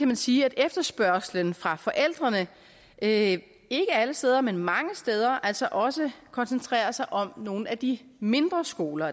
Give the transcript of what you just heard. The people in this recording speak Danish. man sige at efterspørgslen fra forældrene ikke ikke alle steder men mange steder altså også koncentrerer sig om nogle af de mindre skoler